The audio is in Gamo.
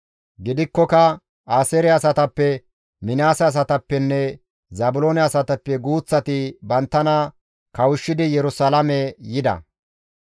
Gidikkoka Aaseere asatappe, Minaase asatappenne Zaabiloone asatappe guuththati banttana kawushshidi Yerusalaame yida.